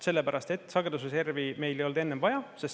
Sellepärast et sagedusreservi meil ei olnud enne vaja.